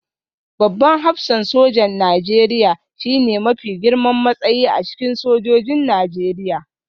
Babban hafsan sojan Najeriya shine mafi girman matsayi a cikin sojojin Najeriya